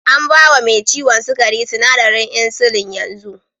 An ba wa me ciwon sukari sinadarin insulin yanzu.